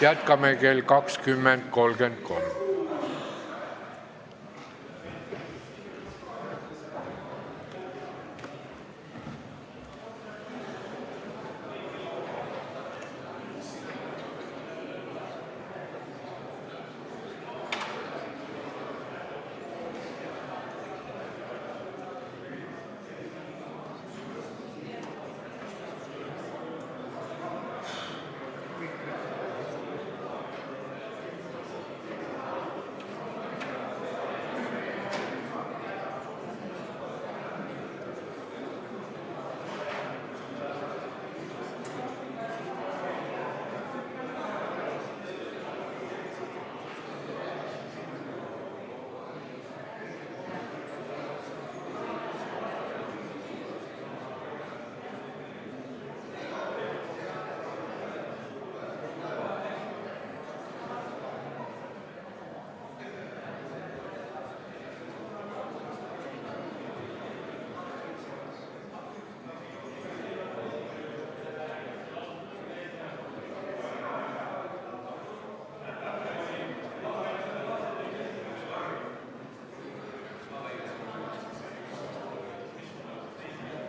Jätkame kell 20.33.